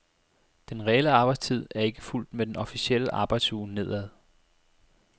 Den reelle arbejdstid er ikke fulgt med den officielle arbejdsuge nedad.